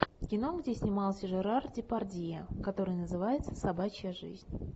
кино где снимался жерар депардье который называется собачья жизнь